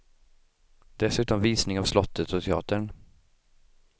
Dessutom visning av slottet och teatern.